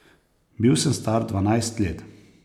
Bil sem star dvanajst let.